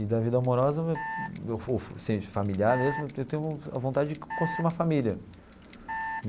E da vida amorosa, ou assim de familiar mesmo, eu tenho a vontade de construir uma família.